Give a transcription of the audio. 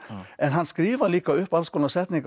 en hann skrifar líka upp alls konar setningar og